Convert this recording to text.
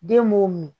Den b'o min